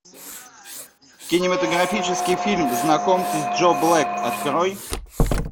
кинематографический фильм знакомьтесь джо блэк открой